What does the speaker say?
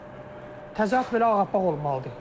Təzə ət belə ağappaq olmalıdır.